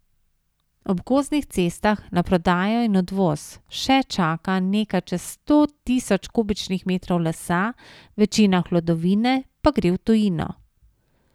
Ob gozdnih cestah na prodajo in odvoz še čaka nekaj čez sto tisoč kubičnih metrov lesa, večina hlodovine pa gre v tujino.